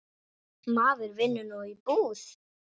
Maður vinnur nú í búð.